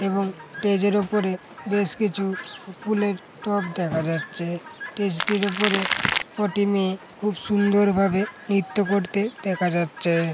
এবং স্টেজ -এর উপরে বেশ কিছু ফুলের টব দেখা যাচ্ছেস্টেজ টির উপরে কটি মেয়ে খুব সুন্দরভাবে নিত্য করতে দেখা যাচ্ছে।